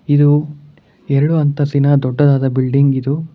ಇದು ಎರಡು ಅಂತಸ್ತಿನ ದೊಡ್ಡದಾದ ಬಿಲ್ಡಿಂಗ್ ಇದು.